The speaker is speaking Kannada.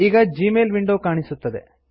ಈಗ ಜೀಮೇಲ್ ವಿಂಡೊ ಕಾಣಿಸುತ್ತದೆ